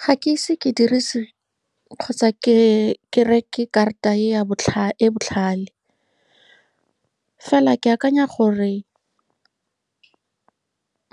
Ga ke ise ke dirise kgotsa ke reke karata e ya e e botlhale. Fela, ke akanya gore